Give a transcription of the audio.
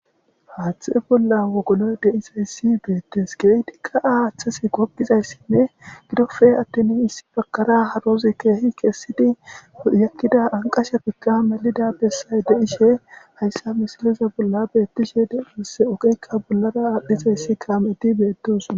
haathtxhe bolla wogolo deizayssi beettes geytiqqaa haaththasi goppizayssinne gidofe attin issi bakara harozi keehi kessidi yakkida anqasha pikka melida bessay deishe hayssa mishiliza bolla beettishe de7iss oqekka bollara aadhdhizayssi kaameti beetisoa